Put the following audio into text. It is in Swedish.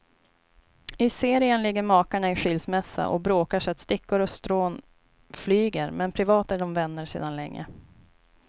I serien ligger makarna i skilsmässa och bråkar så att stickor och strån flyger, men privat är de vänner sedan länge.